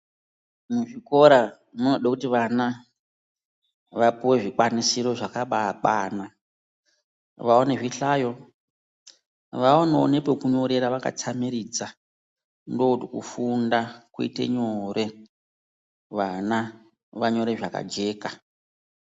Muzvikora munoda kuti vana vapuwre zvikwanisiro zvakabakwana ,vaone zvihlayo, vaonewo nepekunyorera vakatsamiridza ndokuti kufunda kuite nyore ,vana vanyore zvakajeka.